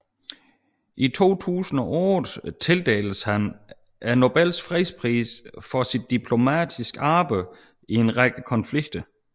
I 2008 tildeltes han Nobels fredspris for sit diplomatiske arbejde i en række konflikter